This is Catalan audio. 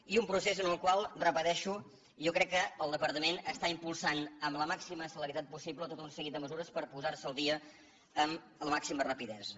i un procés en el qual ho repeteixo jo crec que el departament està impulsant amb la màxima celeritat possible tot un seguit de mesures per posar se al dia amb la màxima rapidesa